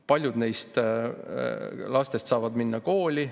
Paljud neist lastest saavad minna kooli.